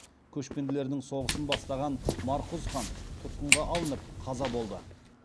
көшпенділердің соғысын бастаған марқұз хан тұтқынға алынып қаза болды